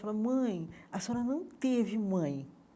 Fala, mãe, a senhora não teve mãe.